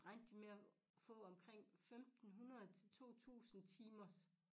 Regnede de med at få omking femten 100 til 2 tusind timers